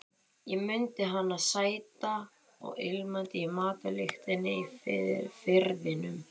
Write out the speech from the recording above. Ég mundi hana sæta og ilmandi í matarlyktinni í Firðinum.